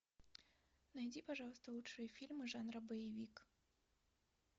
найди пожалуйста лучшие фильмы жанра боевик